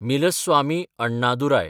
Milswami Annadurai